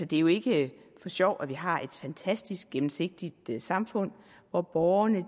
det er jo ikke for sjov at vi har et fantastisk gennemsigtigt samfund hvor borgerne